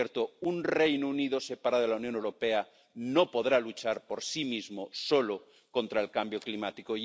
Por cierto, un Reino Unido separado de la Unión Europea no podrá luchar por sí mismo solo contra el cambio climático.